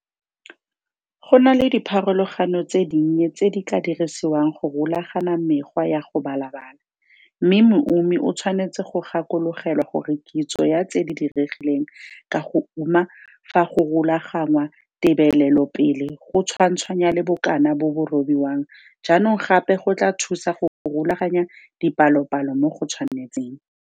Go na le dipharologano tse dinnye tse di ka dirisiwang go rulagana mekgwa ya go balabala, mme moumi o tshwanetse go gakologelwa gore kitso ya tse di diregileng ka go uma fa go rulagangwa tebelelopele go tshwantshanya le bokana bo bo robiwang jaanong gape go tlaa thusa go rulaganya dipalopalo mo go tshwanetseng.